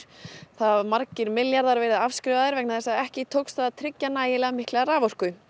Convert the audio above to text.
það hafa margir milljarðar verið afskrifaðir vegna þess að ekki tókst að tryggja nægilega mikla raforku